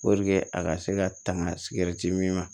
a ka se ka tanga min ma